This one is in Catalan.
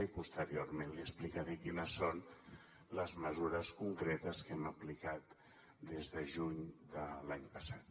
i posteriorment li explicaré quines són les mesures concretes que hem aplicat del de juny de l’any passat